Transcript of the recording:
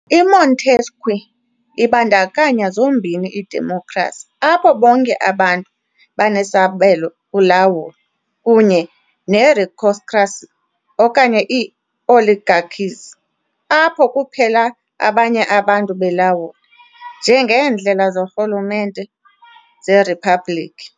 IMontesquieu ibandakanya zombini idemokhrasi, apho bonke abantu banesabelo kulawulo, kunye neeristocracies okanye ii- oligarchies, apho kuphela abanye abantu belawula, njengeendlela zorhulumente zeriphabhlikhi.